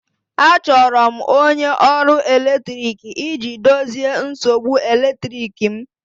Achọrọ m onye ọrụ eletrik iji dozie nsogbu eletrik m